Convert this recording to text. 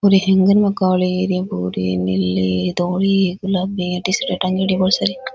और हेंगर में काली इया भूरे नीली धोली गुलाबी टी-शर्ट टांगेडी है बोली सारी।